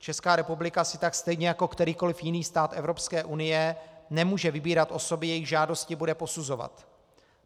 Česká republika si tak stejně jako kterýkoliv jiný stát Evropské unie nemůže vybírat osoby, jejichž žádosti bude posuzovat.